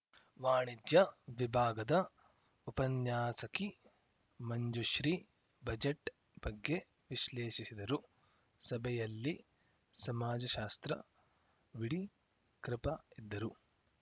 ವಾಣಿಜ್ಯ ವಿಭಾಗದ ಉಪನ್ಯಾಸಕಿ ಮಂಜುಶ್ರೀ ಬಜೆಟ್‌ ಬಗ್ಗೆ ವಿಶ್ಲೇಷಿಸಿದರು ಸಭೆಯಲ್ಲಿ ಸಮಾಜಶಾಸ್ತ್ರ ವಿಡಿ ಕೃಪಾ ಇದ್ದರು